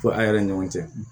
Fo a yɛrɛ ni ɲɔgɔn cɛ